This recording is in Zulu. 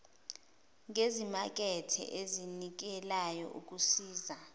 ngezimakethe ezinikelayo kusiza